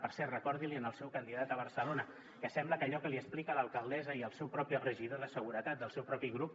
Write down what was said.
per cert recordi l’hi al seu candidat a barcelona que sembla que allò que li explica l’alcaldessa i el seu propi regidor de seguretat del seu propi grup